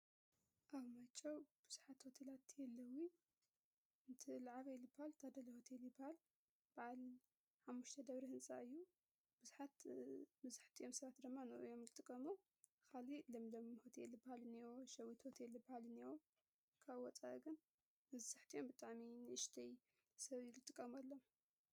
;ኣው ማጨው ብዙሓት ወተላእቲ የለዊ እንቲ ልዓባ ይሊ ባል ታደለ ሁትሊባል በዓል ሓሙሽተ ደብሪ ሕንጻ እዩ ብዙሓት ብዙሕቲዮምሣራት ደማ ኖዮም ልጥቀሞ ኻሊ ለም ለም ሆትይ ኤል ባል ንዎ ሸዊት ወትሊ ባልንእዎ ካብ ወፃገን ንሳሕጥኦም ብጣሚን ይሽተይ ሰብይይልጥቀሙ ኣለ: